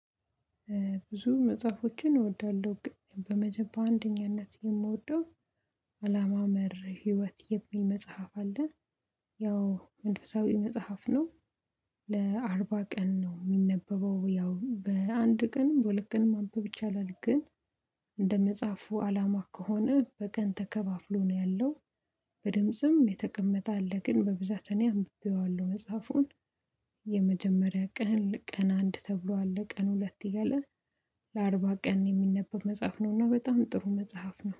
ብዙ መጽሐፎችን እወዳለሁ በመጀመሪያ በአንደኛነት የምወደው አላማ መር ህይወት የሚል መጽሐፍ አለን። ያው መንፈሳዊ መጽሐፍ ነው። ለአርባ ቀን ነው የሚነበበው ያው በአንድ ቀን በሁለት ቀን ማንበብ ይቻላል ግን። እንደመጽሐፉ አላማ ከሆነ በቀን ተከፋፍሎ ነው ያለው። በድምጽም የተቀመጠ አለ ግን በብዛት እኔ አንብቤዋለሁ መጽሐፉን። የመጀመሪያ ቀን ቀን አንድ ተብሎ አለ ቀን ሁለት እያለ። ለአርባ ቀን የሚነበብ መጽሐፍ ነው እና በጣም ጥሩ መጽሐፍ ነው